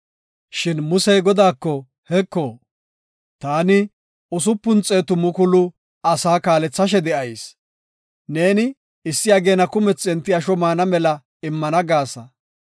Shin Musey Godaako, “Heko, ta 600,000 asaa kaalethashe de7ayis. Neeni issi ageena kumethi enti asho maana mela immana gaasa.